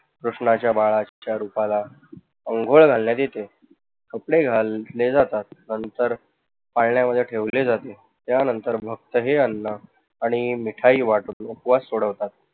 कृष्णाच्या बाळाच्या रुपाला अंघोळ घालण्यात येते. कोडे घातले जातात नंतर पाळण्यामध्ये ठेवले जाते त्यानंतर भक्तजनांना मिठाई वाटून उपवास सोडवतात.